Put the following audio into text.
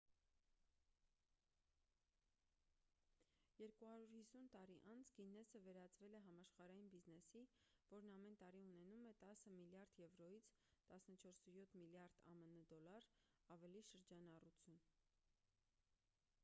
250 տարի անց գիննեսը վերածվել է համաշխարհային բիզնեսի որն ամեն տարի ունենում է 10 միլիարդ եվրոյից 14,7 միլիարդ ամն դոլար ավելի շրջանառություն: